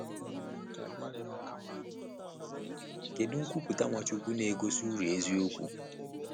Kedu nkwupụta Nwachukwu na-egosi uru eziokwu?